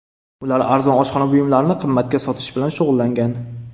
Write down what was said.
Ular arzon oshxona buyumlarini qimmatga sotish bilan shug‘ullangan.